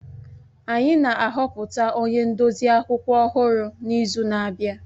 Anyị na-ahọpụta onye ndozi akwụkwọ ọhụrụ n'izu na-abịa